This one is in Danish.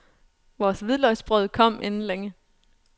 Vores hvidløgsbrød kom inden længe.